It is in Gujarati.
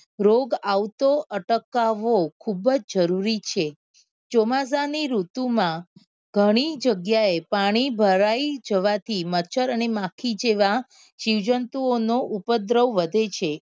રોગ આવતો અટકાવવો ખુબ જ જરૂરી છે ચોમાસા ની ઋતુ માં ગણી જગ્યા એ પાણી ભરાઈ જવા થી મચ્છર અને માખી જેવા જીવ જંતુઓ નો ઉપદ્રવ વધે છે.